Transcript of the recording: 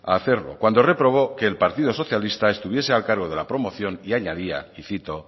a hacerlo cuando reprobó que el partido socialista estuviese al cargo de la promoción y añadía y cito